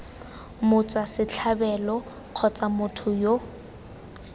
motswa setlhabelo kgotsa motho yo